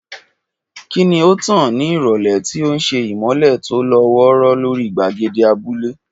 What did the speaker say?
Kí ni ó tàn ní ìrọ̀lẹ́, tí ó ń ṣe ìmọ́lẹ̀ tó lọ́ wọ́ọ́rọ́ lórí gbàgede abúlé?